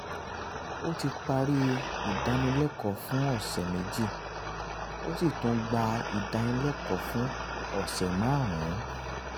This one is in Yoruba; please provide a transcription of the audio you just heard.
ó ti parí ìdánilẹ́kọ̀ọ́ fún ọ̀sẹ̀ méjì ó sì tún gba ìdánilẹ́kọ̀ọ́ fún ọ̀sẹ̀ márùn-ún